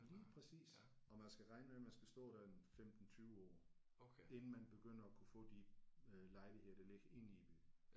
Lige præcis og man skal regne med man skal stå der en 15 20 år inden man begynder at kunne få de øh lejligheder der ligger inde i byen